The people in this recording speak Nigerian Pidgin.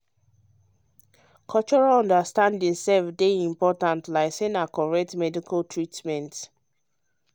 um cultural understanding sef dey important like say na correct medical treatment.